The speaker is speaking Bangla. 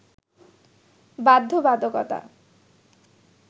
বাধ্যবাধকতা